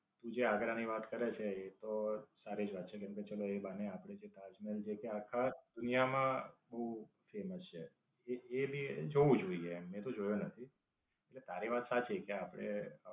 તું જે આગરા ની વાત કરે છે. એ તો સારી જ વાત છે કેમકે, ચાલો એ બહાને આપણે અહીંયા તાજમહેલ છે જે આખી દુનિયા માં બવ famous છે. એ એને જવું જોઈએ મેં તો જોયું નથી. એટલે તારી વાત તો સાચી કે આપડે